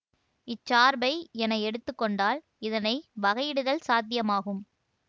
இச்சார்பை என எடுத்து கொண்டால் இதனை வகையிடுதல் சாத்தியமாகும்